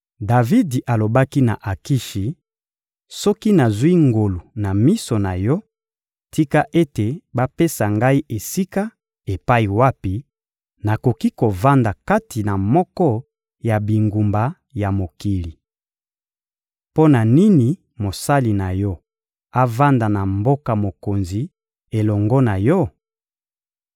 Davidi alobaki na Akishi: «Soki nazwi ngolu na miso na yo, tika ete bapesa ngai esika epai wapi nakoki kovanda kati na moko ya bingumba ya mokili. Mpo na nini mosali na yo avanda na mboka mokonzi elongo na yo?»